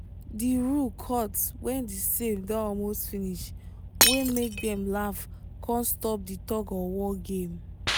the rooe cut when the same don almost finish wey make dem laugh con stop di tug or war game